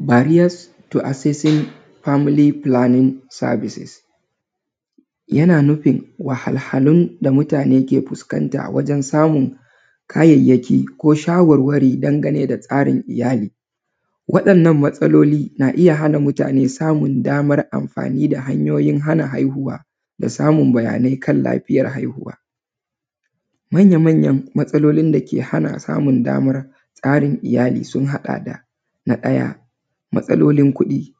Barriers to accessing family planning services. Yana nufin wahalhalun da mutane ke fuskanta wajen samun kayayyaki ko shawarwari dangane da tsarin iyali. Waɗannan matsaloli na iya hana mutane samun damar amfani da hanyoyin hana haihuwa da samun bayanai kan lafiyar haihuwa. Manya manyan matsalolin da ke hana samun damar tsarin iyali sun haɗa da: na ɗaya, matsalolin kuɗi:-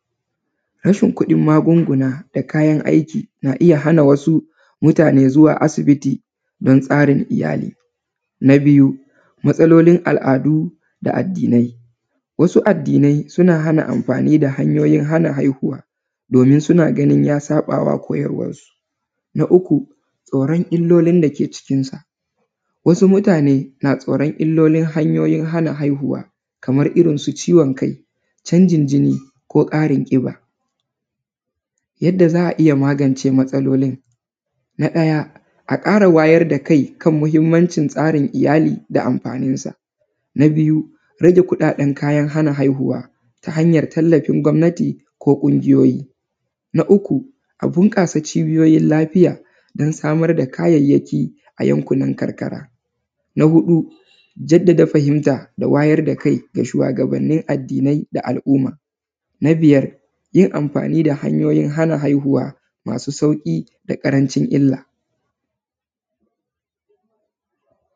rashin kuɗin magunguna da kayan aiki na iya hana wasu mutane zuwa asibiti don tsarin iyali. Na biyu, matsalolin al’adu da addinai:- wasu addinai suna hana amfani da hanyoyin hana haihuwa domin suna ganin ya saɓa wa koyarwarsu. Na uku, tsoron illolin da ke cikinsa:- wasu mutane na tsaron illolin hana haihuwa, kamar irin su ciwon kai, canjin jini ko ƙarin ƙiba. Yadda za a iya magance matsalolin: na ɗaya, a ƙara wayar da kai kan muhimmancin tsarin iyali da amfaninsa.. Na biyu, rage kuɗaɗen kayan hana haihuwa ta hanyar tallafin gwamnati ko ƙungiyoyi. Na uku, a bunƙasa cibiyoyin lafiya don samar da kayayyaki a yankunan karkara. Na huɗu, jaddada fahimta da wayar da kai ga shuwagabannin addinai da al’umma. Na biyar, yin amfani da hanyoyin hana haihuwa masu sauƙi da ƙarancin illa.